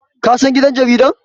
kasan gidan jaridar?